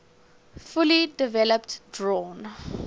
fully developed drawn